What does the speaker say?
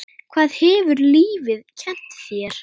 Hvað hefur lífið kennt þér?